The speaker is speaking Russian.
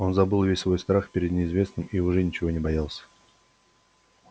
он забыл весь свой страх перед неизвестным и уже ничего не боялся